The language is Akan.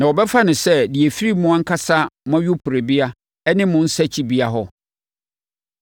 “Na wɔbɛfa no sɛ deɛ ɛfiri mo ankasa mo ayuporobea ne mo nsakyibea hɔ.